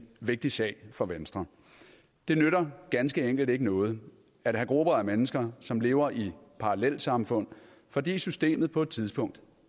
vigtig sag for venstre det nytter ganske enkelt ikke noget at have grupper af mennesker som lever i parallelsamfund fordi systemet på et tidspunkt